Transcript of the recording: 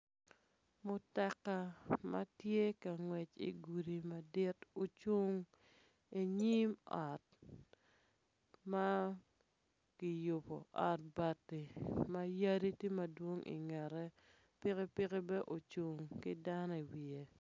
Mutoka matye kangwec idye gudi madit ocung inyim ot ma kiyubo ot bati ma yadi tye madwong ingete piki piki bene ocung ki dano i iye